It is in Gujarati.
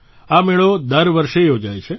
આ મેળો દર વર્ષે યોજાય છે